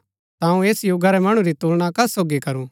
ता अऊँ ऐस युगा रै मणु री तुलना कस सोगी करू